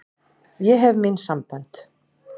Ég hef mín sambönd.